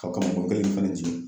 Ka kaba bɔrɔ kelen fɛnɛ jigin